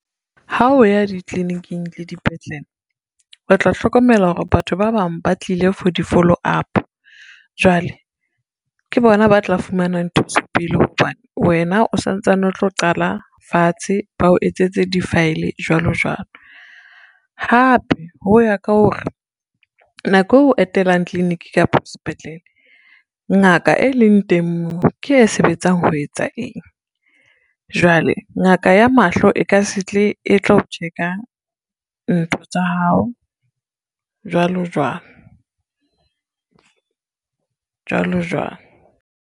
Ha o ya ditliliniking le dipetlele, o tla hlokomela hore batho ba bang ba tlile for di-follow up. Jwale ke bona ba tla fumanang thuso pele hobane, wena o santsane, o tlo qala fatshe bao etsetse di-file jwalo jwalo. Hape ho ya ka hore, nako eo etelang clinic kapa sepetlele ngaka e leng teng moo ke e sebetsang ho etsa eng, jwale ngaka ya mahlo e ka se tle, e tlo o check-a ntho tsa hao jwalo jwalo, jwalo jwalo.